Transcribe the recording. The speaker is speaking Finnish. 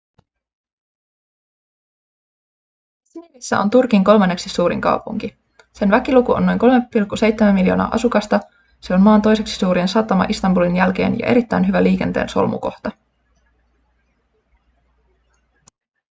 i̇zmirissä on turkin kolmanneksi suurin kaupunki. sen väkiluku on noin 3,7 miljoonaa asukasta se on maan toiseksi suurin satama istanbulin jälkeen ja erittäin hyvä liikenteen solmukohta